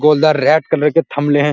गोलदार red colour के थम्भ्ले हैं।